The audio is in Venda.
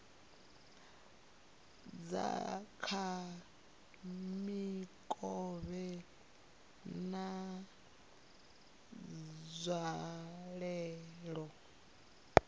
dza kha mikovhe na nzwalelo